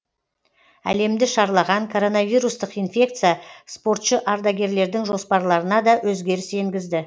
әлемді шарлаған коронавирустық инфекция спортшы ардагерлердің жоспарларына да өзгеріс енгізді